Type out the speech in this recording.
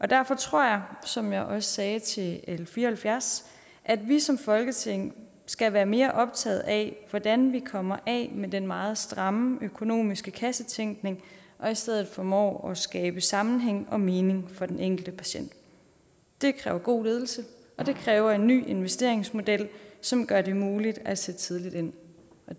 derfor tror jeg som jeg også sagde til l fire og halvfjerds at vi som folketing skal være mere optaget af hvordan vi kommer af med den meget stramme økonomiske kassetænkning og i stedet formår at skabe sammenhæng og mening for den enkelte patient det kræver god ledelse og det kræver en ny investeringsmodel som gør det muligt at sætte tidligt ind